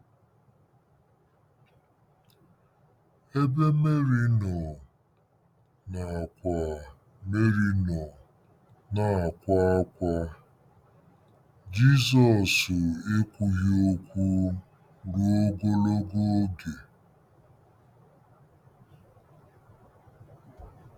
Ebe Meri nọ na-akwa Meri nọ na-akwa ákwá, Jizọs ekwughị okwu ruo ogologo oge.